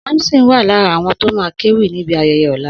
Samson ma wà lára àwọn tó ma kéwì níbi ayẹyẹ lọ́la